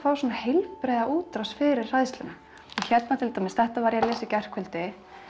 heilbrigða útrás fyrir hræðsluna hérna til dæmis þetta var ég að lesa í gærkvöldi